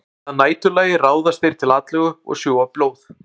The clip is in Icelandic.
Að næturlagi ráðast þeir til atlögu og sjúga blóð.